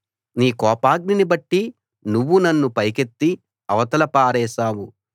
నీ కోపాగ్నిని బట్టి నువ్వు నన్ను పైకెత్తి అవతల పారేశావు